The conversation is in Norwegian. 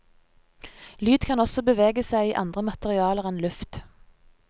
Lyd kan også bevege seg i andre materialer enn luft.